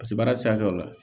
Paseke baara sira tɛ o la